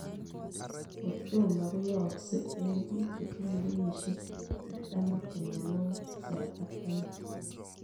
Kordoma koyaaksei eng piik chetinyee kenyisiek artam ak tamanwagik 7 ak taman.